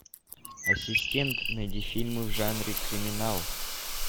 ассистент найди фильмы в жанре криминал